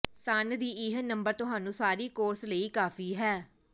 ਸਣ ਦੀ ਇਹ ਨੰਬਰ ਤੁਹਾਨੂੰ ਸਾਰੀ ਕੋਰਸ ਲਈ ਕਾਫ਼ੀ ਹੈ